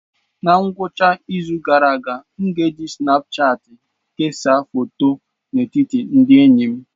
Na ngwụcha izu gara aga, m na-eji Sinapụchati kesaa foto n'etiti ndị enyi m.